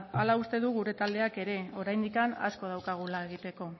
hala uste du gure taldeak ere oraindik asko daukagula egiteko